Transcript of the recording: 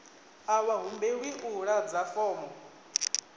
a vha humbelwi u ḓadza fomo